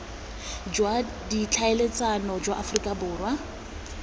jwa ditlhaeletsano jwa aforika borwa